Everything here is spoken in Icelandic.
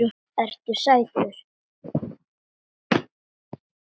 Ertu sætur?